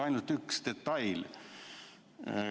Ainult üks detail.